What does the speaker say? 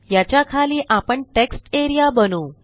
याच्याखाली आपण text area बनवू